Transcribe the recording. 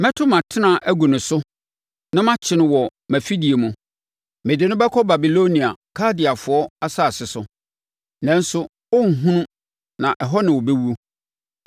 Mɛto mʼatena agu no so na makyere no wɔ mʼafidie mu; mede no bɛkɔ Babilonia Kaldeafoɔ asase so, nanso ɔrenhunu, na ɛhɔ na ɔbɛwu.